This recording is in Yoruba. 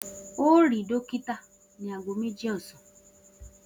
O óò rí dókítà ní aago méjì ò̩sán!